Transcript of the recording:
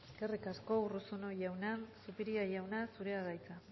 eskerrik asko urruzuno jauna zupiria jauna zurea da hitza